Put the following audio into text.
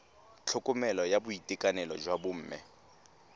tlhokomelo ya boitekanelo jwa bomme